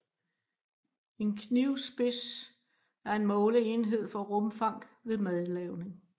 En knivspids er en måleenhed for rumfang ved madlavning